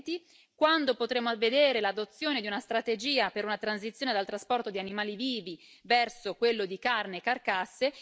2020? Quando potremmo vedere l'adozione di una strategia per una transizione dal trasporto di animali vivi verso quello di carne e carcasse?